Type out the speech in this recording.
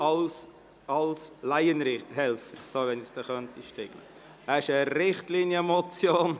Es handelt sich um eine Richtlinienmotion;